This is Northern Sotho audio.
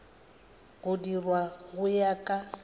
go dirwa go ya ka